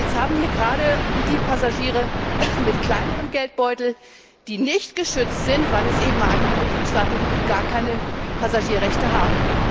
Jetzt sind es gerade die Passagiere mit kleinerem Geldbeutel, die nicht geschützt sind, weil es eben einige Mitgliedstaaten gibt, die gar keine Passagierrechte haben.